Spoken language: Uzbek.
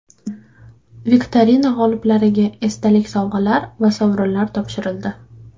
Viktorina g‘oliblariga esdalik sovg‘alari va sovrinlar topshirildi.